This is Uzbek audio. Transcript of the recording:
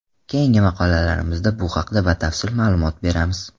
Keyingi maqolalarimizda bu haqda batafsil ma’lumot beramiz.